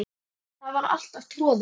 Það var alltaf troðið.